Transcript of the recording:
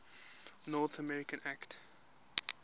north america act